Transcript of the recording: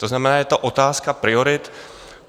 To znamená, je to otázka priorit.